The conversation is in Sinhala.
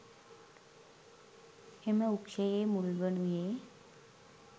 එම වෘක්‍ෂයේ මුල්වනුයේ